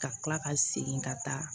Ka kila ka segin ka taa